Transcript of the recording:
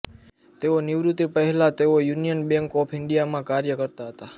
તેઓ નિવૃત્તિ પહેલાં તેઓ યુનિયન બેંક ઓફ ઇન્ડિયામાં કાર્ય કરતા હતા